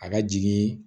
A ka jigin